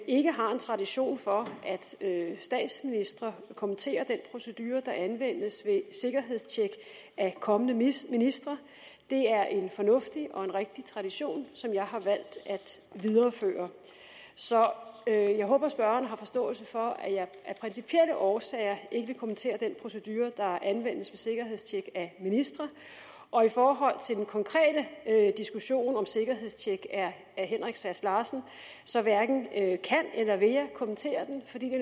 ikke har en tradition for at statsministre kommenterer den procedure der anvendes ved sikkerhedstjek af kommende ministre det er en fornuftig og en rigtig tradition som jeg har valgt at videreføre så jeg håber at spørgeren har forståelse for at jeg af principielle årsager ikke vil kommentere den procedure der anvendes ved sikkerhedstjek af ministre og i forhold til den konkrete diskussion om sikkerhedstjek af herre henrik sass larsen så hverken kan eller vil jeg kommentere den fordi det